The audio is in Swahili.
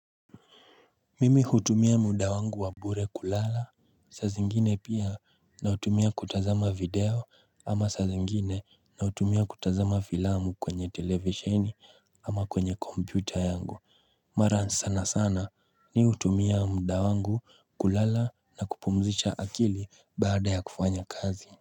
Mimi hutumia muda wangu wa bure kulala saa zingine pia na hutumia kutazama video ama saa zingine na hutumia kutazama filamu kwenye televisheni ama kwenye computer yangu Mara sana sana ni hutumia muda wangu kulala na kupumzisha akili baada ya kufanya kazi.